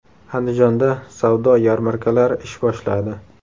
Andijonda savdo yarmarkalari ish boshladi.